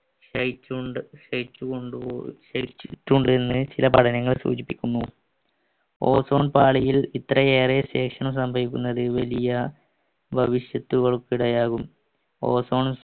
എന്ന് ചില പഠനങ്ങൾ സൂചിപ്പിക്കുന്നു ozone പാളിയിൽ ഇത്രയേറെ ശേഷണം സംഭവിക്കുന്നത് വലിയ ഭവിഷ്യത്തുകൾക്കിടയാകും ozone